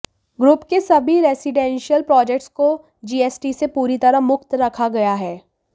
group के सभी residential projects को जीएसटी से पूरी तरह मुक्त रखा गया है